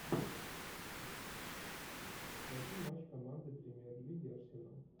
найти матч команды премьер лиги арсенал